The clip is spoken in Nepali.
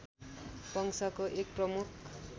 वंशको एक प्रमुख